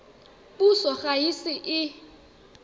puso ga e ise e